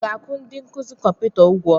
A ga-akwụ ndi nkuzi kọmputa ụgwọ?